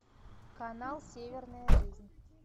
канал северная жизнь